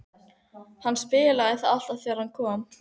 Hann spilaði það alltaf þegar hann kom.